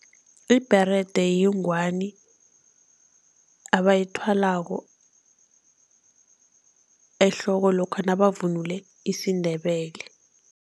Ibherede yingwani abayithwalako ehloko lokha nabavunule isiNdebele.